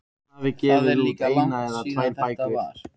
Það er líka langt síðan þetta var.